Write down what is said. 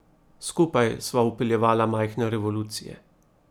Skupaj sva vpeljevala majhne revolucije.